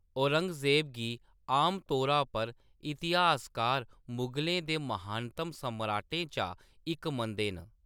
औरंगजेब गी आमतौरा पर इतिहासकार मुगलें दे महानतम सम्राटें चा इक मनदे न।